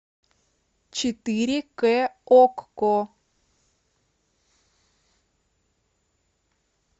четыре к окко